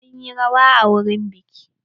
Mun yi rawa a wurin biƙi.